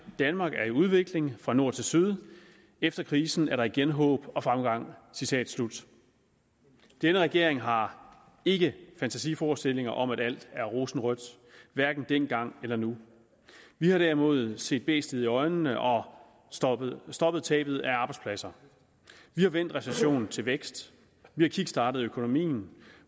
danmark er i udvikling fra nord til syd efter krisen er der igen håb og fremgang citat slut denne regering har ikke fantasiforestillinger om at alt er rosenrødt hverken dengang eller nu vi har derimod set bæstet i øjnene og stoppet stoppet tabet af arbejdspladser vi har vendt recession til vækst vi har kickstartet økonomien